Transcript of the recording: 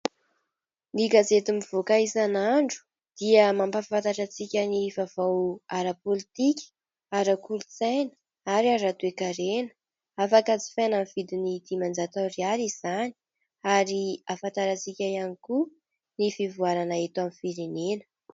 Ny gazety mivoaka isan'andro dia mampahafantatra antsika ny vaovao ara-pôlitika, ara-kolotsaina aty ara-toekarena, afaka jifaina amin'ny vidiny dimanjato ariary izany ary ahafantarantsika ihany koa ny fivoarana eto amin'ny firenena.